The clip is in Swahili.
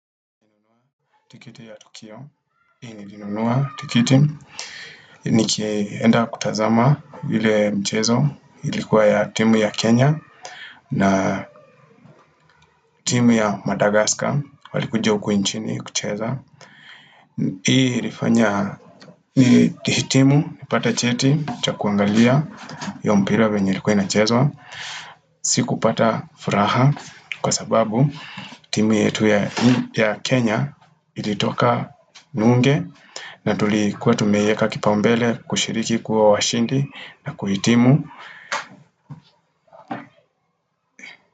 Tikiti ya Tokio, hii nilinunua tikiti. Nikienda kutazama ile mchezo ilikuwa ya timu ya Kenya na. Timu ya Madagascar walikuja ukuinchini kucheza Hii ilifanya, hii timu, ipata cheti, cha kuangalia yompira venye ilikuwa na chezwa. Siku pata furaha kwa sababu. Timu yetu ya Kenya ilitoka nunge na tulikuwa tumeieka kipambele kushiriki kuwa washindi na kuitimu.